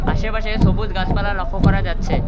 আশেপাশে সবুজ গাছপালা লক্ষ করা যাচ্ছে।